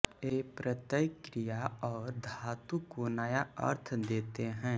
ये प्रत्यय क्रिया और धातु को नया अर्थ देते हैं